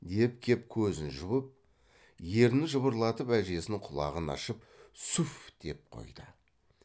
деп кеп көзін жұмып ернін жыбырлатып әжесінің құлағын ашып су ф деп қойды